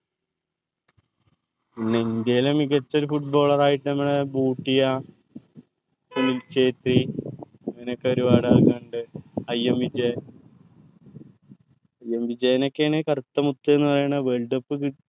ഇന്ത്യേൽ മികച്ച ഒരു footballer ആയിട്ട് നമ്മളെ ബൂട്ടിയ സുനിൽ ഛേത്രി അങ്ങനൊക്കെ ഒരുപാട് ആൾക്കാരിണ്ട് കറുത്ത മുത് എന്ന് പറയണ worldcup